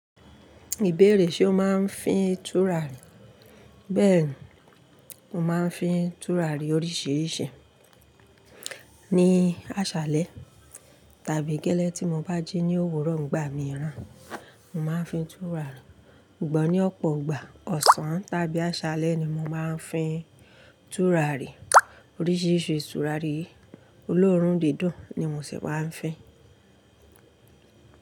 Ìbéèrè ṣe o máa ń fín tùràrí? Bẹ́ẹ̀ni, mo máa ń fín tùràrí oríṣiríṣi. Ní àṣálẹ̀ tàbí gẹ́lẹ́ tí mo bá jí ní òwúrò, ìgbà mìíràn mo máa ń fín tùràrí. Ṣugbọn ní ọ̀pọ̀ ọ̀gbà ọ̀sán tàbí àṣálẹ̀ ni mo máa ń fín tùràrí. Oríṣiríṣi tùràrí olóòrùn dídùn ni mo ṣì máa ń fín.